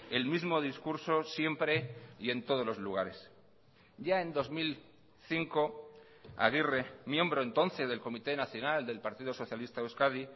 el mismo discurso siempre y en todos los lugares ya en dos mil cinco aguirre miembro entonces del comité nacional del partido socialista de euskadi